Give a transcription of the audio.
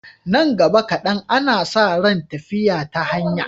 Nan gaba kaɗan, ana sa ran tafiya ta hanya.